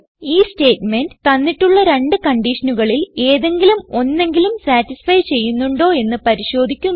ഈ സ്റ്റേറ്റ്മെന്റ് തന്നിട്ടുള്ള രണ്ട് കൺഡിഷനുകളിൽ ഏതെങ്കിലും ഒന്നെങ്കിലും സതിസ്ഫൈ ചെയ്യുന്നുണ്ടോ എന്ന് പരിശോധിക്കുന്നു